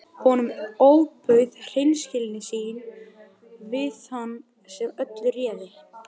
Guðmundur var ekki margorður frekar en venjulega.